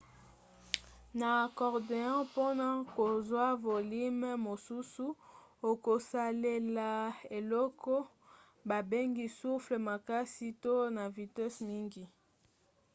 na accordéon mpona kozwa volime mosusu okosalela eloko babengi soufflet makasi to na vitese mingi